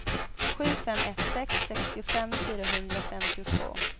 sju fem ett sex sextiofem fyrahundrafemtiotvå